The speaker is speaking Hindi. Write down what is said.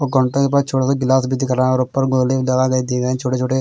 कनटा एक बार छोटा सा गिलास भी दिख रहा हैं और ऊपर गोली दबा के दी गयी छोटे छोटे--